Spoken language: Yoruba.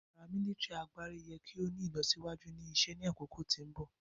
paramilitary agbari yẹ ki o ni ilọsiwaju ni isẹ ni akoko ti mbọ.